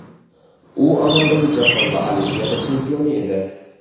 U amaldagi jahon va Olimpiada chempioni edi.